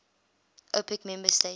opec member states